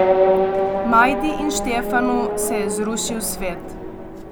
Majdi in Štefanu se je zrušil svet.